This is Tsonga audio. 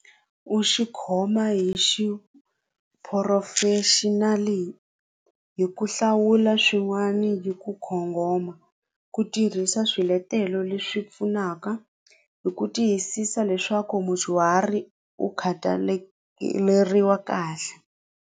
U xikhoma hi xiphurofexinali hi hi ku hlawula swin'wani hi ku ku tirhisa swiletelo leswi pfunaka hi ku tiyisisa leswaku mudyuhari u kahle.